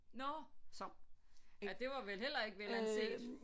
Nåh ja det var vel heller ikke velanset